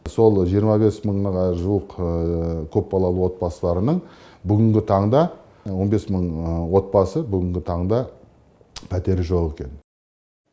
сол жиырма бес мыңға жуық көпбалалы отбасыларының бүгінгі таңда он бес мың отбасы бүгінгі таңда пәтері жоқ екен